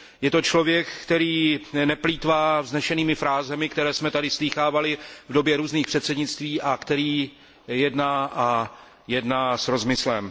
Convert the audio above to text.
Je to člověk, který neplýtvá vznešenými frázemi, které jsme tady slýchávali v době různých předsednictví, a který jedná s rozmyslem.